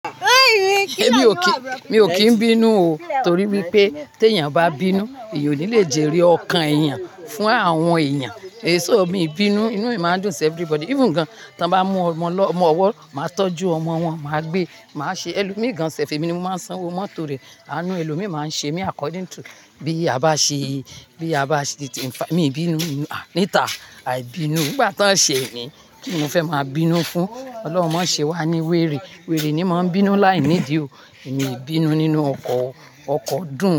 Èmi o ki, mi o ki n bínú o torí wípé tí èèyàn bá bínú èèyàn ò ní le jèrè ọkàn ẹ̀yàn fún àwọn ẹ̀yàn. Èso mi bínú, inú mi máa ń dùn for everybody. Even gan, tí wọ́n bá mú ọmọ lọ, ọmọ ọwọ́, màá tọ́jú ọmọ wọn, màá gbé, màá ṣe ẹlòmíì gan. Sẹf ẹ́mi ni mo máa san owó mọ́tò rẹ̀. Àánú ẹlòmíì máa ń ṣe mí according to bí a bá ṣe, bí a bá ṣe. Mi bínú, níta aì bínú. Nígbà tó ṣe mi, kí ni mo fẹ́ máa bínú fún? Ọlọ́run máa ṣe wá ní wèrè. Wèrè ni máa ń bínú láìnídìí o. Èmi ì bínú nínú ọkọ, ọkọ dùn.